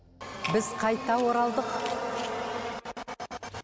біз қайта оралдық